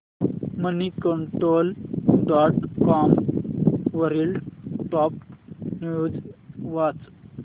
Moneycontrol dot com वरील top news वाच